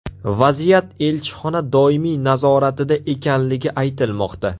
Vaziyat elchixona doimiy nazoratida ekanligi aytilmoqda.